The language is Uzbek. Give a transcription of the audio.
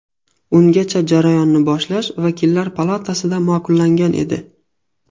Ungacha jarayonni boshlash vakillar palatasida ma’qullangan edi.